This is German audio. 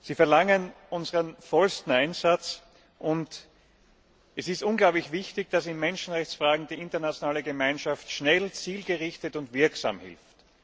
Sie verlangen unseren vollen Einsatz und es ist unglaublich wichtig, dass in Menschenrechtsfragen die internationale Gemeinschaft schnell, zielgerichtet und wirksam hilft.